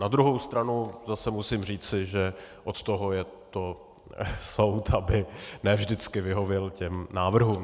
Na druhou stranu zase musím říci, že od toho je to soud, aby ne vždycky vyhověl těm návrhům.